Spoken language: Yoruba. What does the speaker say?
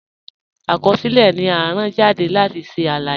Akọsilẹ̀ ni à rán jàdé láti ṣẹ̀ aláyé.